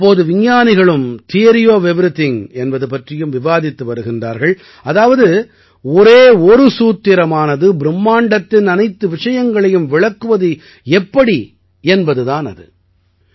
இப்போது விஞ்ஞானிகளும் theory of everything என்பது பற்றியும் விவாதித்து வருகிறார்கள் அதாவது ஒரே ஒரு சூத்திரமானது பிரும்மாண்டத்தின் அனைத்து விஷயங்களையும் விளக்குவது எப்படி என்பது தான் அது